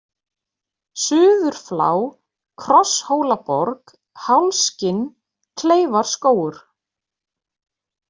Suðurflá, Krosshólaborg, Hálskinn, Kleifarskógur